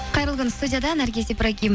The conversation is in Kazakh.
қайырлы күн студияда наргиз ибрагим